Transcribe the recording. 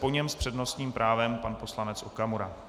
Po něm s přednostním právem pan poslanec Okamura.